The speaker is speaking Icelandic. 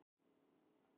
Ef ég ræni